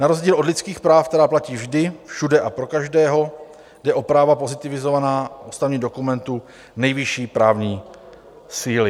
Na rozdíl od lidských práv, která platí vždy, všude a pro každého, jde o práva pozitivizovaná v ústavním dokumentu nejvyšší právní síly.